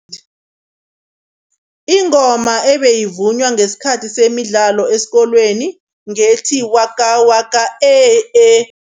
Ingoma ebeyivunywa ngesikhathi semidlalo esikolweni ngethi, waka waka eh eh.